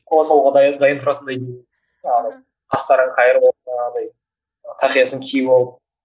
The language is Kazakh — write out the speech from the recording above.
қоя салуға дайын тұратындай жаңағы қастарын қайырып алып жаңағыдай тақиясын киіп алып